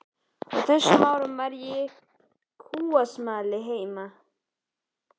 Á þessum árum var ég kúasmali heima.